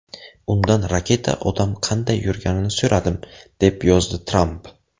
Undan raketa-odam qanday yurganini so‘radim”, deb yozdi Tramp.